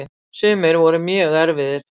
Sumir voru mjög erfiðir.